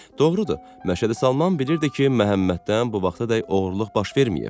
Doğrudur, Məşədi Salman bilirdi ki, Məhəmməddən bu vaxtadək oğurluq baş verməyib.